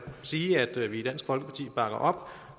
sige at vi i dansk folkeparti bakker op